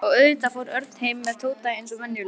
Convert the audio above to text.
Og auðvitað fór Örn heim með Tóta eins og venjulega.